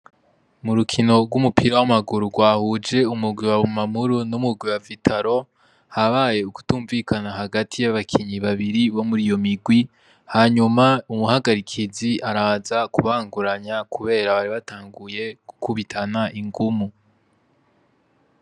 Mu rukino rw'umupira w'amaguru rwahuje umugwi wa Bumamuru n'umugwi wa Vitaro, habaye ukutumvikana hagati y'abakinyi babiri bo mur'iyo migwi, hanyuma umuhagarikizi araza kubanguranya, kubera bari batanguye gukubitana ingumu.